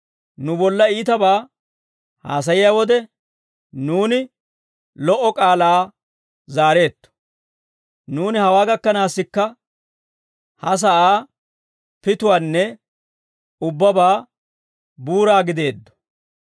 Nu bolla iitabaa haasayiyaa wode, nuuni lo"o k'aalaa zaareetto. Nuuni hawaa gakkanaassikka, ha sa'aa pituwaanne ubbabaa buuraa gideeddo.